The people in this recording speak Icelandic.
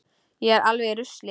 Ég er alveg í rusli.